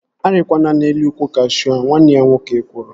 A rikwana elu ukwu kashuu ahụ! Nwanne ya nwoke kwuru